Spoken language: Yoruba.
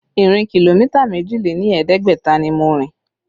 Ìrìn kìlómítà méjì lé ní ẹ̀ẹ́dẹ́gbẹ̀ta ni mo rìn